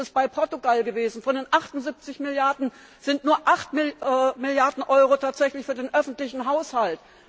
Ähnlich ist es in Portugal gewesen Von den 78 Milliarden Euro sind nur 8 Milliarden Euro tatsächlich für den öffentlichen Haushalt.